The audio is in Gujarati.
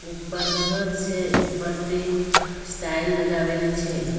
ઉપર ઘર છે ઇ પરતે સ્ટાઇલ લગાવેલી છે.